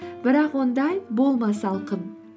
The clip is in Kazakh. бірақ ондай болма салқын